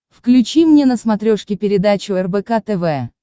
включи мне на смотрешке передачу рбк тв